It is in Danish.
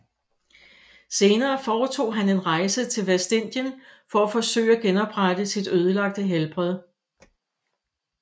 Senere foretog han en rejse til Vestindien for at forsøge at genoprette sit ødelagte helbred